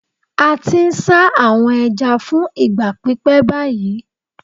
A ti n sa awọn ẹja fun igba pipẹ bayi